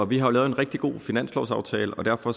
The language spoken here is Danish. vi har jo lavet en rigtig god finanslovsaftale og derfor